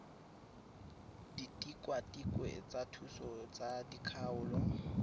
ditikwatikwe tsa thuso tsa dikgaolo